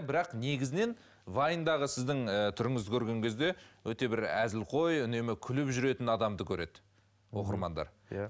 бірақ негізінен вайндағы сіздің ііі түріңізді көрген кезде өте бір әзілқой үнемі күліп жүретін адамды көреді оқырмандар иә